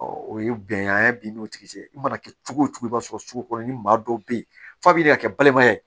o ye bɛn ye bin n'o tigi cɛ i mana kɛ cogo cogo i b'a sɔrɔ sugu kɔnɔ ni maa dɔw be yen f'a bi ka kɛ balimaya ye